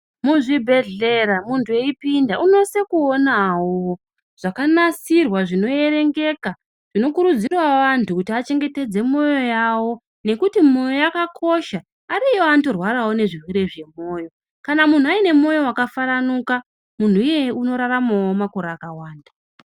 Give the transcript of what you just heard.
Mu zvibhehlera muntu eyipinda unosise kuonawo zvakanasirwa zvino erengeka zvino kurudzirawo vantu achengetedze moyo yawo nekuti moyo yakakosha ariyo anoto rwarawo ne zvirwere zve moyo kana munhu aine moyo waka faranuka munhu iyeye unoraramawo makore akawanda.